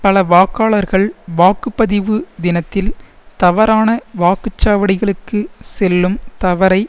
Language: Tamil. பலவாக்காளர்கள் வாக்கு பதிவு தினத்தில் தவறான வாக்குச்சாவடிகளுக்கு செல்லும் தவறை